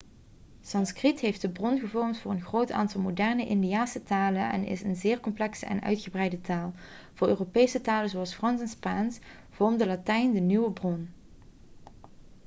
sanskriet heeft de bron gevormd voor een groot aantal moderne indiase talen en is een zeer complexe en uitgebreide taal voor europese talen zoals frans en spaans vormde latijn de bron